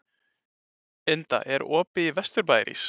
Inda, er opið í Vesturbæjarís?